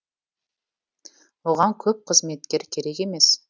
оған көп қызметкер керек емес